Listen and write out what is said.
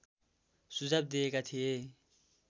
सुझाव दिएका थिए